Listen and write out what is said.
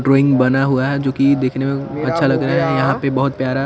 drawing बना हुआ है जोकि दिखने में में अच्छा लग रहा है यहाँ पे बहुत प्यारा--